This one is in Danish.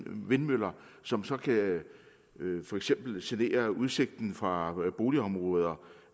vindmøller som så for eksempel kan genere udsigten fra boligområder